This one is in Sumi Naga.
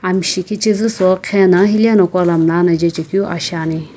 amshi khichizu sowu qhena hileno kuana mlla na je chekeu aa shiani.